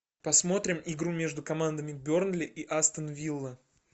посмотрим игру между командами бернли и астон вилла